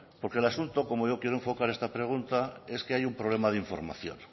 porque el asunto como yo quiero enfocar esta pregunta es que hay un problema de información